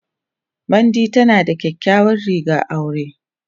Mandy tana da kyakkyawar rigar aure.